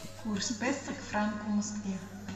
курс песо к франку в москве